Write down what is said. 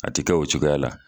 A ti kɛ o cogoya la.